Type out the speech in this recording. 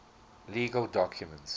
legal documents